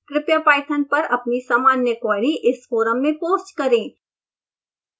कृपया पाइथन पर अपनी सामान्य क्वेरी इस फोरम में पोस्ट करें